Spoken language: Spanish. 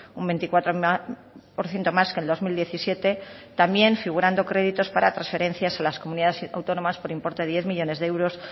un veinticuatro por ciento más que el dos mil diecisiete también figurando créditos para transferencias a las comunidades autónomas por importe de diez millónes de euros